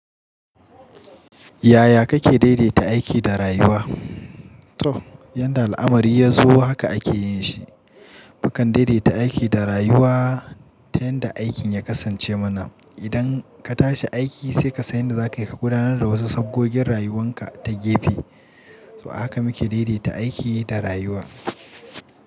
Yaya kake daidaita aiki da rayuwa? To, yadda al'amari ya zo haka ake yin shi. Mukan daidaita aiki da rayuwa ta yadda aikin ya kasance mana. Idan ka tashi aiki sai ka san yadda za ka kuka gudanar da wasu saboggin rayuwanka ta gefe. So haka muke daidaita aiki da rayuwa.